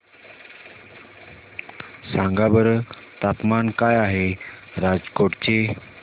सांगा बरं तापमान काय आहे राजकोट चे